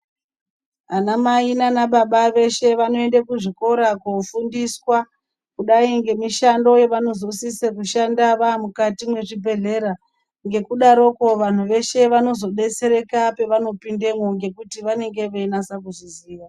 Anamai nanababa veshe vanoende kuzvikora kofundiswa kudai ngemishando yevanosise kushanda vamukati mezvibhedhlera. Ngekudaroko vantu veshe vanozodetsereka pevanopindamo ngekuti vanenge veinatsa kuzviziya.